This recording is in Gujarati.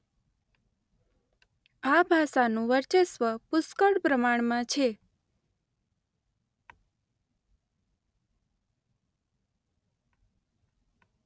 આ ભાષાનું વર્ચસ્વ પુષ્કળ પ્રમાણમાં છે.